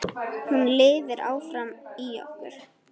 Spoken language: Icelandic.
Hún lifir áfram í okkur.